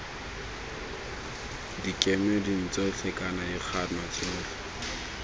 dikemeding tsotlhe kana dikgano tse